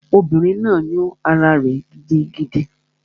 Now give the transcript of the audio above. Obìnrin náà yún ará rẹ̀ gidigidi